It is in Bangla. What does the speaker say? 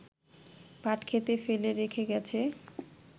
পাটক্ষেতে ফেলে রেখে গেছে